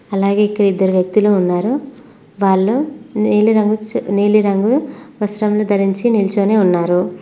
అలాగే ఇక్కడ ఇద్దరు వ్యక్తులు ఉన్నారు వాళ్ళు నీలిరంగు వస్త్రాములు ధరించి నిల్చొని ఉన్నారు.